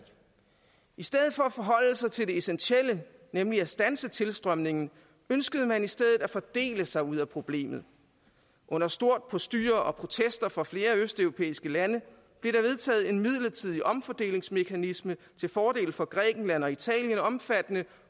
i stedet for at forholde sig til det essentielle nemlig at standse tilstrømningen ønskede man i stedet at fordele sig ud af problemet under stort postyr og med protester fra flere østeuropæiske lande blev der vedtaget en midlertidig omfordelingsmekanisme til fordel for grækenland og italien omfattende